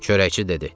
Çörəkçi dedi.